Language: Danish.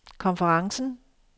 konferencen